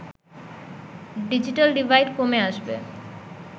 digital divide কমে আসবে